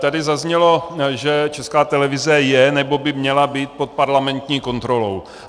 Tady zaznělo, že Česká televize je nebo by měla být pod parlamentní kontrolou.